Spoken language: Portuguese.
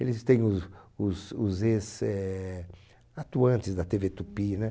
Eles têm os os os ex eh, atuantes da Tevê Tupi, né?